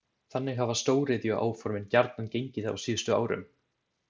Þannig hafa stóriðjuáformin gjarnan gengið á síðustu árum.